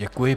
Děkuji.